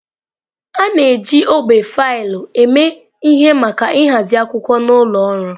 A na-eji ogbe faịlụ eme ihe maka ịhazi akwụkwọ n'ụlọ ọrụ.